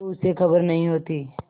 तो उसे खबर नहीं होती